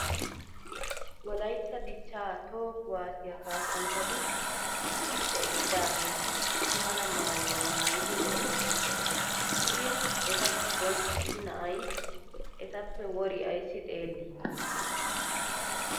Wolayitta dichchaa toho kuwaasiya kaassanchchati issippe eqqidaageeti issi mala maayuwa maayidi lo'oosona. Shin eta giddon issi na'ay etappe wori ayssi xeellii?